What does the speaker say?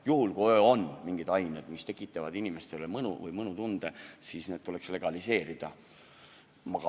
Juhul kui on mingid ained, mis tekitavad inimestele mõnu või mõnutunnet, siis need tuleks legaliseerida.